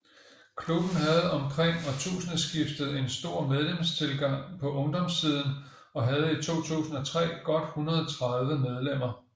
Klubben havde omkring årtusindeskiftet en stor medlemstilgang på ungdomssiden og havde i 2003 godt 130 medlemmer